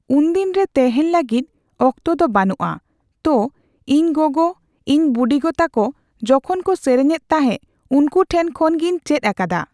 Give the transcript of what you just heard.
ᱩᱱᱫᱤᱱ ᱨᱮ ᱛᱮᱦᱮᱸᱧ ᱞᱟᱹᱜᱤᱫ ᱚᱠᱛᱚ ᱫᱚ ᱵᱟᱱᱩᱜᱼᱟ ᱾ᱛᱚ ᱤᱧ ᱜᱚᱜᱚ ᱤᱧ ᱵᱩᱰᱤᱜᱚ ᱛᱟᱠᱚ ᱡᱚᱠᱷᱚᱱ ᱠᱚ ᱥᱮᱨᱮᱧ ᱮᱫ ᱛᱟᱦᱮᱸ ᱩᱱᱠᱩ ᱴᱷᱮᱱ ᱠᱷᱚᱱ ᱜᱤᱧ ᱪᱮᱫ ᱟᱠᱟᱫᱟ ᱾